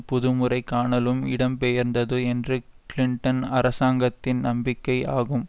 புதுமுறை காணலுக்கு இடம்பெயர்ந்தது என்ற கிளிண்டன் அரசாங்கத்தின் நம்பிக்கை ஆகும்